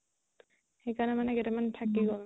সেই কাৰণে মানে কেইটা মান থাকি গ'ল